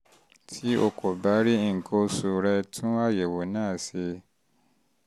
tí o kò bá rí nǹkan oṣù rẹ tún àyẹ̀wò náà náà ṣe